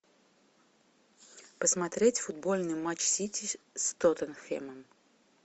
посмотреть футбольный матч сити с тоттенхэмом